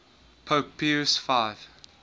pope pius x